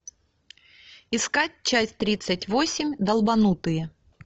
искать часть тридцать восемь долбанутые